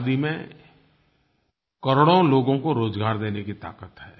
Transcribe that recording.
खादी में करोड़ों लोगों को रोज़गार देने की ताकत है